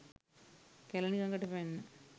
කැළණි ගඟට පැන්නා.